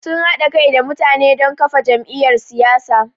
Sun haɗa kai da mutane don kafa jam’iyyar siyasa.